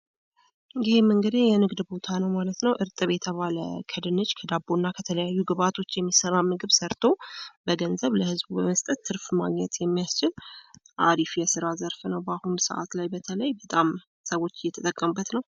ይህም እንግዲህ የንግድ ቦታ ነው ማለት ነው። እርጥብ የተባለ ከድንች ከዳቦ እና ከተለያዩ ግብዓቶች የሚሰራ ምድብ ሰርቶ በገንዘብ ለህዝቡ በመስጠት ትርፍ ማግኘት የሚያስችል አሪፍ የስራ ዘርፍ ነው ባሁኑ ሰዓት በተለይ በተለይ ሰዎች እየተጠቀሙበት ነው።